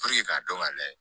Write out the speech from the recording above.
k'a dɔn k'a layɛ